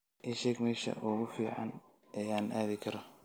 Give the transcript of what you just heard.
ii sheeg meesha ugu fiican ee aan aadi karo